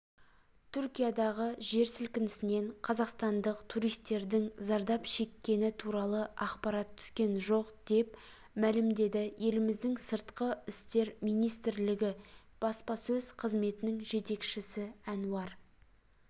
түркиядағы жер сілкінісінен қазақстандық туристердің зардап шеккені туралы ақпарат түскен жоқ деп мәлімдеді еліміздің сыртқы істер министрілігі баспасөз қызметінің жетекшісі әнуар